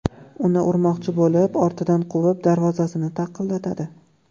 uni urmoqchi bo‘lib ortidan quvib, darvozasini taqillatadi.